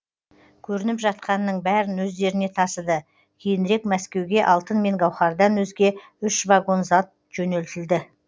көрініп жатқанның бәрін өздеріне тасыды кейінірек мәскеуге алтын мен гауһардан өзге үш вагон зат жөнелтілді